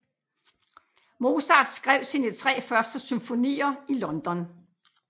Mozart skrev sine tre første symfonier i London